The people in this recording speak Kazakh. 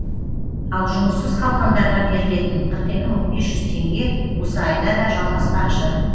ал жұмыссыз қалғандарға берілетін қырық екі мың бес жүз теңге осы айда да жалғаспақшы